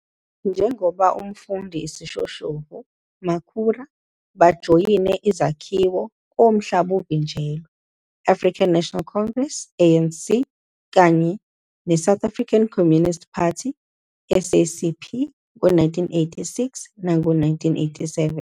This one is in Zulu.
Njengoba umfundi isishoshovu, Makhura bajoyine izakhiwo komhlaba uvinjelwe -African National Congress, ANC, kanye iSouth African Communist Party, SACP, ngo-1986 nango-1987.